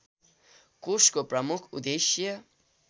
कोषको प्रमुख उद्देश्य